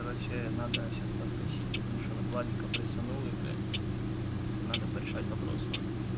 короче надо сейчас подскочить потому что она владика пресанула блядь порешать вопросы надо порешать вопросы вот